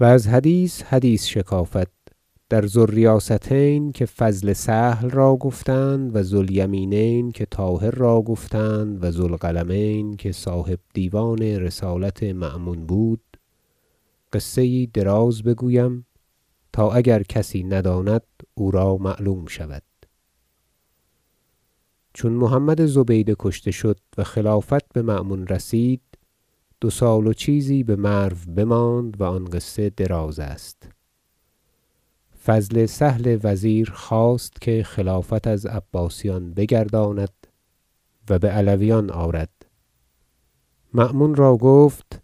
و از حدیث حدیث شکافد در ذو الریاستین که فضل سهل را گفتند و ذو الیمینین که طاهر را گفتند و ذو القلمین که صاحب دیوان رسالت مأمون بود قصه یی دراز بگویم تا اگر کسی نداند او را معلوم شود چون محمد زبیده کشته شد و خلافت بمأمون رسید دو سال و چیزی بمرو بماند و آن قصه دراز است فضل سهل وزیر خواست که خلافت از عباسیان بگرداند و بعلویان آرد مأمون را گفت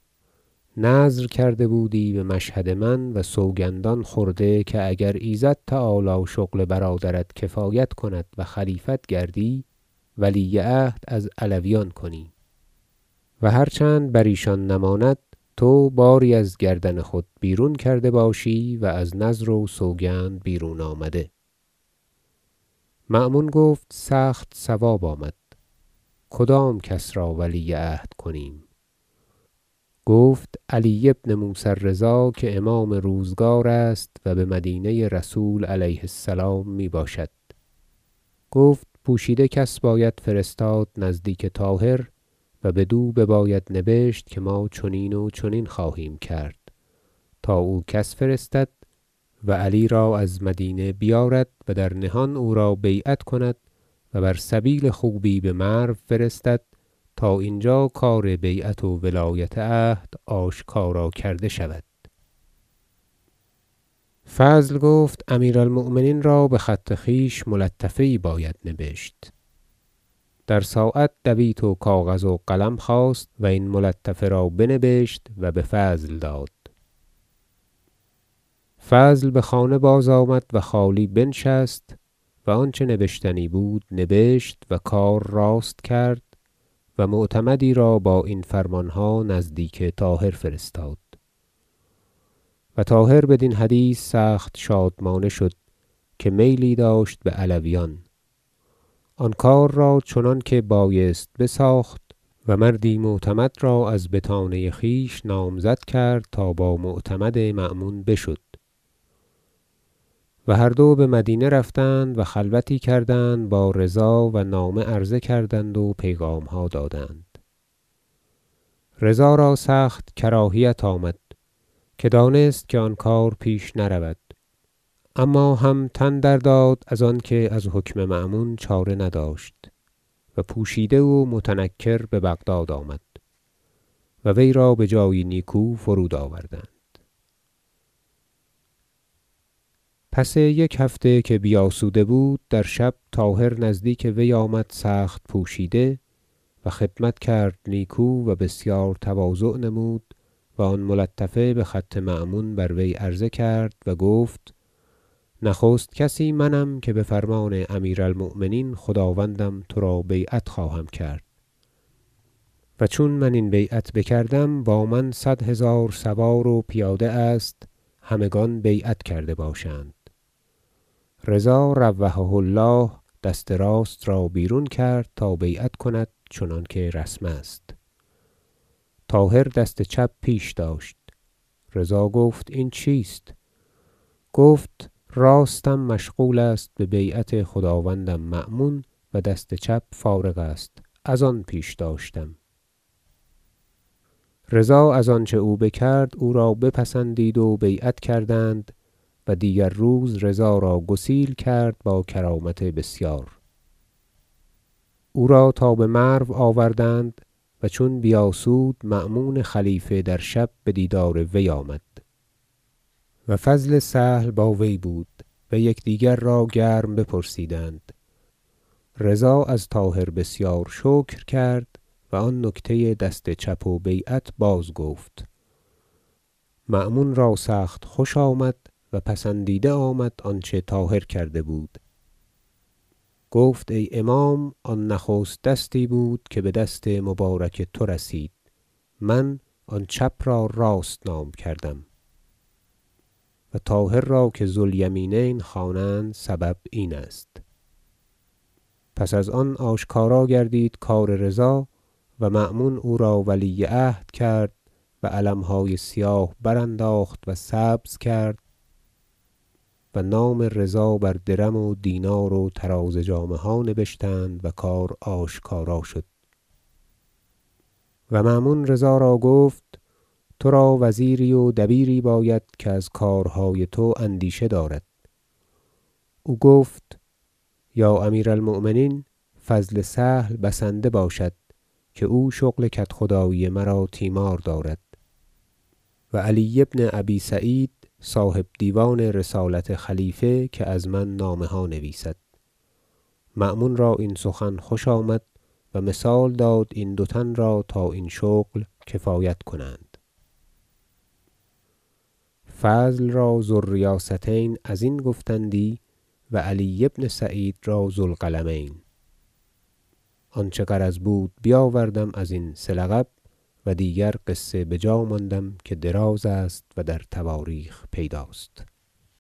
نذر کرده بودی بمشهد من و سوگندان خورده که اگر ایزد تعالی شغل برادرت کفایت کند و خلیفت گردی ولی عهد از علویان کنی و هر چند بر ایشان نماند تو باری از گردن خود بیرون کرده باشی و از نذر و سوگند بیرون آمده مأمون گفت سخت صواب آمد کدام کس را ولی عهد کنیم گفت علی بن موسی الرضا که امام روزگار است و بمدینه رسول علیه السلام می باشد گفت پوشیده کس باید فرستاد نزدیک طاهر و بدو بباید نبشت که ما چنین و چنین خواهیم کرد تا او کس فرستد و علی را از مدینه بیارد و در نهان او را بیعت کند و بر سبیل خوبی بمرو فرستد تا اینجا کار بیعت و ولایت عهد آشکارا کرده شود فضل گفت امیر المؤمنین را بخط خویش ملطفه یی باید بنبشت در ساعت دویت و کاغذ و قلم خواست و این ملطفه را بنبشت و بفضل داد فضل بخانه بازآمد و خالی بنشست و آنچه نبشتنی بود نبشت و کار راست کرد و معتمدی را با این فرمانها نزدیک طاهر فرستاد و طاهر بدین حدیث سخت شادمانه شد که میلی داشت بعلویان آن کار را چنانکه بایست بساخت و مردی معتمد را از بطانه خویش نامزد کرد تا با معتمد مأمون بشد و هر دو بمدینه رفتند و خلوتی کردند با رضا و نامه عرضه کردند و پیغامها دادند رضا را سخت کراهیت آمد که دانست که آن کار پیش نرود اما هم تن درداد از آنکه از حکم مأمون چاره نداشت و پوشیده و متنکر ببغداد آمد و وی را بجایی نیکو فرود آوردند پس یک هفته که بیاسوده بود در شب طاهر نزدیک وی آمد سخت پوشیده و خدمت کرد نیکو و بسیار تواضع نمود و آن ملطفه بخط مأمون بر وی عرضه کرد و گفت نخست کسی منم که بفرمان امیر المؤمنین خداوندم ترا بیعت خواهم کرد و چون من این بیعت بکردم با من صد هزار سوار و پیاده است همگان بیعت کرده باشند رضا روحه الله دست راست را بیرون کرد تا بیعت کند چنانکه رسم است طاهر دست چپ پیش داشت رضا گفت این چیست گفت راستم مشغول است به بیعت خداوندم مأمون و دست چپ فارغ است ازان پیش داشتم رضا از آنچه او بکرد او را بپسندید و بیعت کردند و دیگر روز رضا را گسیل کرد با کرامت بسیار او را تا بمرو آوردند و چون بیاسود مأمون خلیفه در شب بدیدار وی آمد و فضل سهل با وی بود و یکدیگر را گرم بپرسیدند و رضا از طاهر بسیار شکر کرد و آن نکته دست چپ و بیعت بازگفت مأمون را سخت خوش آمد و پسندیده آمد آنچه طاهر کرده بود گفت ای امام آن نخست دستی بود که بدست مبارک تو رسید من آن چپ را راست نام کردم و طاهر را که ذو الیمینین خوانند سبب این است پس از آن آشکارا گردید کار رضا و مأمون او را ولی عهد کرد و علمهای سیاه برانداخت و سبز کرد و نام رضا بر درم و دینار و طراز جامه ها نبشتند و کار آشکارا شد و مأمون رضا را گفت ترا وزیری و دبیری باید که از کارهای تو اندیشه دارد او گفت یا امیر المؤمنین فضل سهل بسنده باشد که او شغل کدخدایی مرا تیمار دارد و علی بن ابی سعید صاحب دیوان رسالت خلیفه که از من نامه ها نویسد مأمون را این سخن خوش آمد و مثال داد این دو تن را تا این شغل کفایت کنند فضل را ذو الریاستین ازین گفتندی و علی بن ابی سعید را ذو القلمین آنچه غرض بود بیاوردم ازین سه لقب و دیگر قصه بجا ماندم که دراز است و در تواریخ پیداست